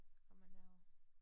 Kom man derover